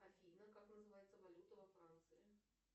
афина как называется валюта во франции